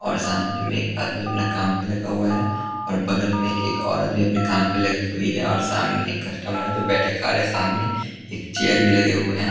और सामने में एक आदमी अपना काम पे लगा हुआ है और बगल में एक औरत भी अपने काम पे लगी हुई है और सामने एक कस्टमर है जो बैठे खा रहे हैं सामने एक चेयर भी लगे हुए हैं ।